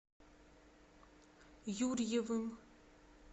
юрьевым